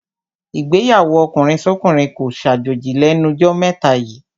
Ìgbéyàwó ọkùnrinsọ́kùnrin kó ṣàjòjì lẹ́nu jọ́ mẹ́ta yíì.